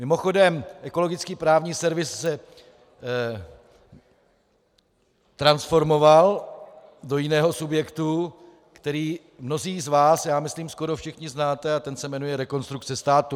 Mimochodem Ekologický právní servis se transformoval do jiného subjektu, který mnozí z vás, já myslím skoro všichni, znáte, a ten se jmenuje Rekonstrukce státu.